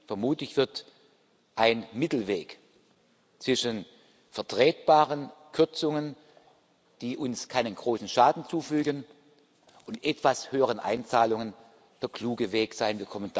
Vermutlich wird ein Mittelweg zwischen vertretbaren Kürzungen, die uns keinen großen Schaden zufügen, und etwas höheren Einzahlungen der kluge Weg sein.